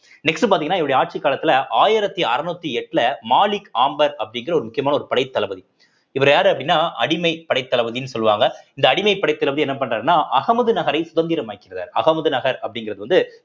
next பார்த்தீங்கன்னா இவருடைய ஆட்சிக் காலத்துல ஆயிரத்தி அறநூத்தி எட்டுல மாலிக் ஆம்பர் அப்படிங்கிற ஒரு முக்கியமான ஒரு படைத்தளபதி இவர் யாரு அப்படின்னா அடிமை படைத்தளபதின்னு சொல்லுவாங்க இந்த அடிமைப் படைத்தளபதி என்ன பண்றாருன்னா அகமது நகரை சுதந்திரமாக்கிறாரு அகமுது நகர் அப்படிங்கிறது வந்து